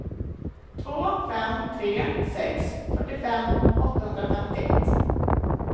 två fem tre sex fyrtiofem åttahundrafemtioett